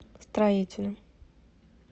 строителем